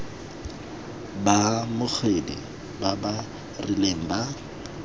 baamogedi ba ba rileng ba